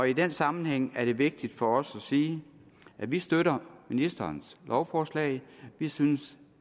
i den sammenhæng er det vigtigt for os at sige at vi støtter ministerens lovforslag vi synes